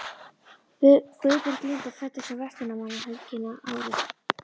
Guðbjörg Linda fæddist um verslunarmannahelgina árið